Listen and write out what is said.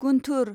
Guntur